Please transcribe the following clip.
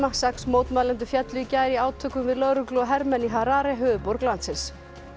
sex mótmælendur féllu í gær í átökum við lögreglu og hermenn í Harare höfuðborg landsins